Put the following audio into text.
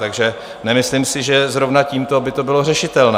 Takže nemyslím si, že zrovna tímto by to bylo řešitelné.